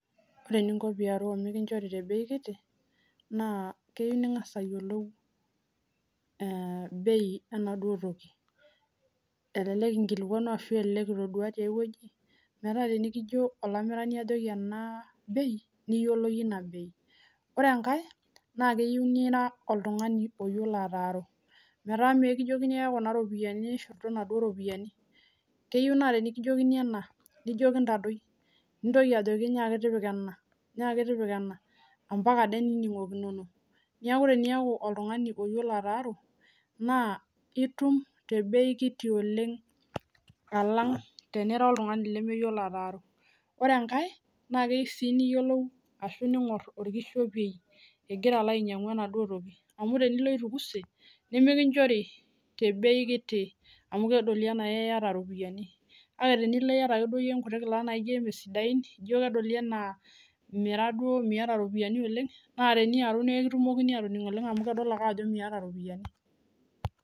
ore eningo teniyarau tebei kiti naa keyiou niyiolo bei enaduo toki keyiou sii naa iyiolo iropiani naamiri enaduoo toki meetaa mikijokini ake kuna ropiani nishurtu keyiou naa tenikijokini ena nijoki intaboi ore ake peekijoki ena ningil ake ampaka ade niningokinono niaku teniyiolo ataaru naa itum naa tebei kiti. keyiou sii ningor orkishepei amuu tenilo itukuse nimitum naa tebei kiti amu kedoli enaa iyata iropiani